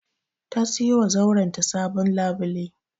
Ta siyowa zauren ta sabon labule.